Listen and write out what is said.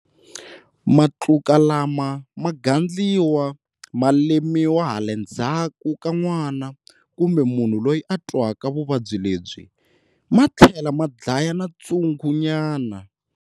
Matluka lama ma gandliwa, ma lemiwa hale ndzhaku ka nwana kumbe munhu loyi a twaka vuvabyi lebyi, ma tlhela ma dlaya na tshungunyana.